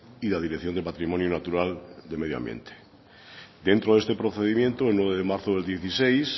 y la dirección de patrimonio natural de medio ambiente dentro de este procedimiento el nueve de marzo del dieciséis